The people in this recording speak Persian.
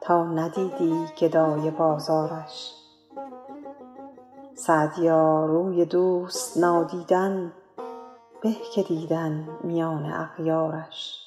تا ندیدی گدای بازارش سعدیا روی دوست نادیدن به که دیدن میان اغیارش